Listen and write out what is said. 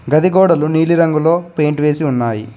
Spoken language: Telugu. గది గోడలు నీలిరంగులో పెయింట్ వేసి ఉన్నాయి.